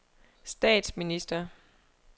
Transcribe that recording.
statsminister